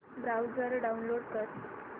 browser download कर